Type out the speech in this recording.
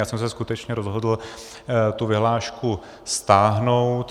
Já jsem se skutečně rozhodl tu vyhlášku stáhnout.